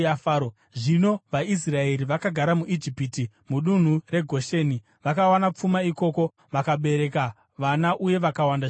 Zvino vaIsraeri vakagara muIjipiti mudunhu reGosheni. Vakawana pfuma ikoko, vakabereka vana uye vakawanda zvikuru.